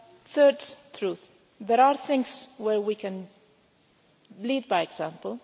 Third truth there are things where we can lead by example.